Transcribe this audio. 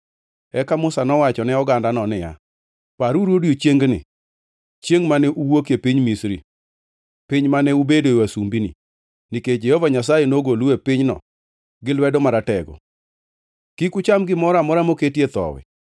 Eka Musa nowacho ne ogandano niya, “Paruru odiechiengni, chiengʼ mane uwuokie piny Misri, piny mane ubedoe wasumbini, nikech Jehova Nyasaye nogolou e pinyno gi lwedo maratego. Kik ucham gimoro amora moketie thowi.